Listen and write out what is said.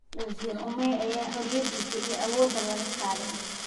Waziri Ummy aya horiyadhisa iyo awodha laka kadhey.